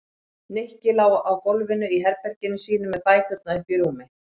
Nikki lá á gólfinu í herberginu sínu með fæturna uppi í rúmi.